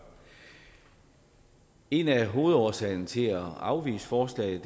en af hovedårsagerne til at afvise forslaget